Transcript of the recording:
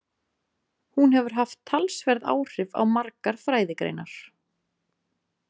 Hún hefur haft talsverð áhrif á margar fræðigreinar.